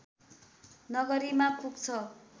नगरीमा पुग्छ